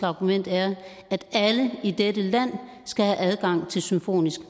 argument er at alle i dette land skal have adgang til symfonisk